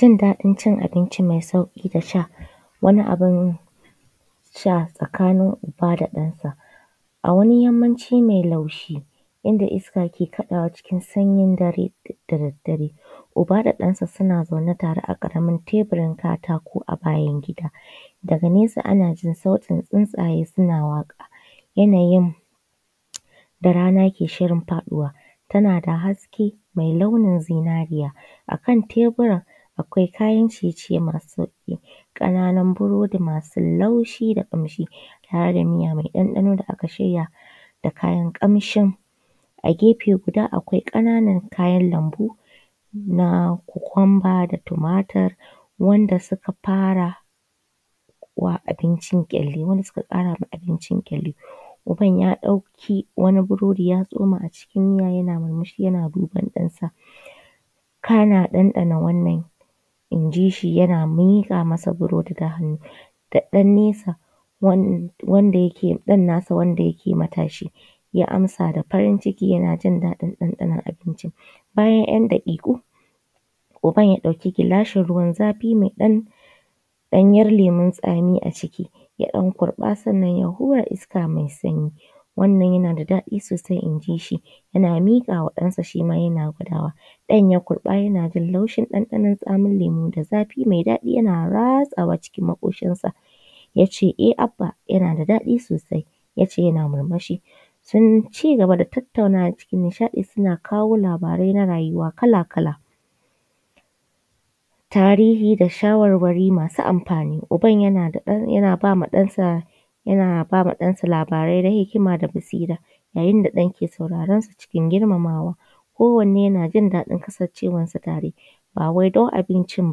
Jin daɗin cin abinci mai sauƙi da sha, wani abun sha tsakanin uba da ɗansa. A wani yammaci mai laushi inda iska ke kaɗawa cikin sayin dare da daddare uba da ɗansa suna zaune tare a ƙaramin tebur katako a bayan gida, daga nesa ana jin sautin tsuntsaye na waƙa yanayin da rana ke shirin faɗawa, tana da haske mai launi zinariya, a kan tebura akwai kayan ciye ciye masu sauƙi, ƙananun burodi masu laushi da kamshi tare da miya mai ɗanɗano da aka shirya da kayan ƙamshin, a gefe guda akwai ƙananan kayan lambu na kokumba da tumatur wanda suka fara abincin kyalli wanda suka ƙara abincin kyalli. Uban ya ɗauki wani burodi ya tsoma a cikin miya yana murmushi yana duban ɗansa, kana ya ɗanɗana wannan injishi yana miƙa masa burodi da hannu, da ɗan nasa wanda yake ɗan nasa wanda yake matashi ya amsa da farin ciki yanajin ɗanɗano abincin. Bayan ‘yan’ daƙiƙu uban ya ɗauki gilashi ruwan zafi mai ɗan ɗanyar lemun tsami a ciki ya ɗan kurɓa sannan ya hura iska mai sanyi. Wannan yana da daɗi sosai injishi, ya miƙama ɗansa shima yana gwadawa ɗan ya kurɓa yana jin laushi ɗanɗanon tsamin lemon da zafi mai daɗi yana ratsawa cikin maƙoshin sa, yace e Abba yana da daɗi sosai yace yana murmushi, sun ci gaba da tattaunawa cikin nishaɗi suna kawo labarai na rayuwa kala kala. Tarihi da shawarwari masu amfani, uban yana da yana ba ma ɗansa yana ba ma ɗansa labarai na hikima da basira, yayin da ɗan ke sauraron sa ciki girmamawa ko wanne yana jin daɗin kasancewar su tare, ba wai don abincin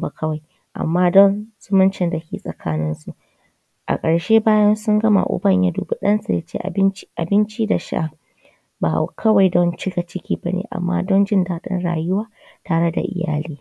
ba kawai amma dan zumuncin dake tsakanin su. A ƙarshe bayan sun gama uban ya dubi ɗansa yace abinci abinci da sha ba kawai don cika ciki bane amma don jin daɗin rayuwa tare da iyyali.